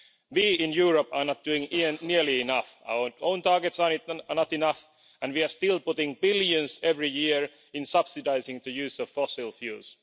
We, in Europe, are not doing nearly enough. Our own targets are not enough, and we are still putting billions every year into subsidising the use of fossil fuels.